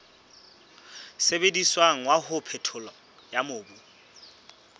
sebediswang wa ho phethola mobu